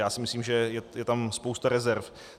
Já si myslím, že je tam spousta rezerv.